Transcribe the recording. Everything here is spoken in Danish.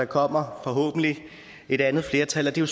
kommer et andet flertal og det er